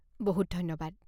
বহুত ধন্যবাদ।